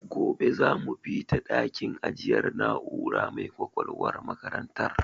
Gobe za mu bita a dakin ajiyar na'ura mai ƙwaƙwalwar makarantar.